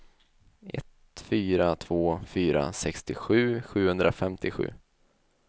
ett fyra två fyra sextiosju sjuhundrafemtiosju